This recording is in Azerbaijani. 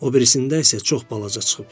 O birisində isə çox balaca çıxıb.